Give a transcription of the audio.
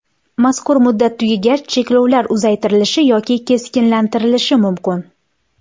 Mazkur muddat tugagach cheklovlar uzaytirilishi yoki keskinlashtirilishi mumkin.